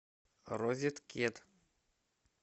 розеткед